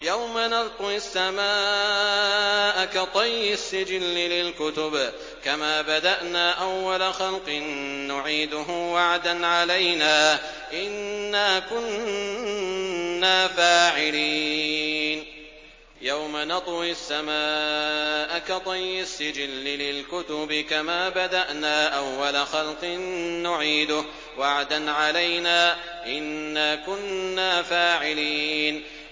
يَوْمَ نَطْوِي السَّمَاءَ كَطَيِّ السِّجِلِّ لِلْكُتُبِ ۚ كَمَا بَدَأْنَا أَوَّلَ خَلْقٍ نُّعِيدُهُ ۚ وَعْدًا عَلَيْنَا ۚ إِنَّا كُنَّا فَاعِلِينَ